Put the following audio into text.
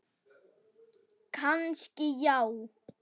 Kannski já.